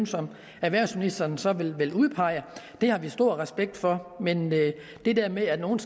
erhvervsministeren så vil udpege det har vi stor respekt for men det der med at nogle